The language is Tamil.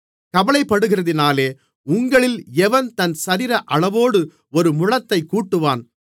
கவலைப்படுகிறதினாலே உங்களில் எவன் தன் சரீர அளவோடு ஒரு முழத்தைக் கூட்டுவான்